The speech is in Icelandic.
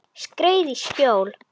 Skreið í skjól.